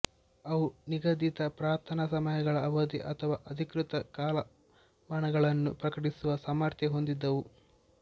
ಅವು ನಿಗದಿತ ಪ್ರಾರ್ಥನಾ ಸಮಯಗಳ ಅವಧಿ ಅಥವಾ ಅಧಿಕೃತ ಕಾಲಮಾನ ಗಳನ್ನು ಪ್ರಕಟಿಸುವ ಸಾಮರ್ಥ್ಯ ಹೊಂದಿದ್ದವು